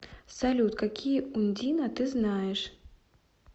салют какие ундина ты знаешь